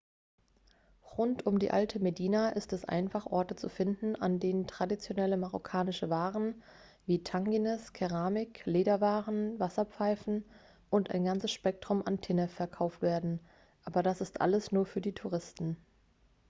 rund um die alte medina ist es einfach orte zu finden an denen traditionelle marokkanische waren wie tagines keramik lederwaren wasserpfeifen und ein ganzes spektrum an tinnef verkauft werden aber das ist alles nur für die touristen